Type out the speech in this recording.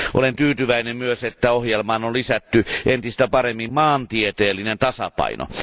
Olen tyytyväinen myös, että ohjelmaan on lisätty entistä paremmin maantieteellinen tasapaino.